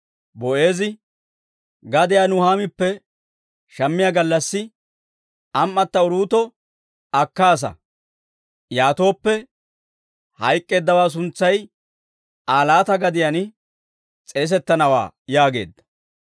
Boo'eezi, «Gadiyaa Naa'oomippe shammiyaa gallassi, am"atto Uruuto akkaasa; yaatooppe, hayk'k'eeddawaa suntsay Aa laata gadiyaan s'eesettanawaa» yaageedda.